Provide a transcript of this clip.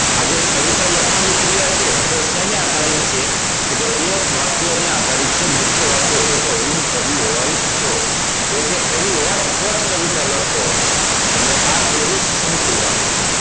આ જે કવિતા લખવાની ક્રિયા છે તે શેને આધારિત છે તો તે વાક્ય ને આધારિત છે મુખ્ય વાક્ય છે કે હું કવિ હોય તો જો તે કવિ હોત તો જ તે કવિતા લખતો હોત તો આ થઈ ગયું સંકૂલ વાક્ય